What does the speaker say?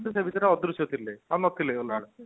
ସେ ଭିତରେ ଅଦୃଶ୍ୟ ଥିଲେ ଆଉ ନ ଥିଲେ